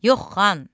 Yox xan,